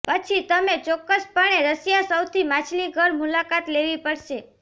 પછી તમે ચોક્કસપણે રશિયા સૌથી માછલીઘર મુલાકાત લેવી પડશે